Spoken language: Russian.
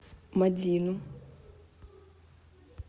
мадину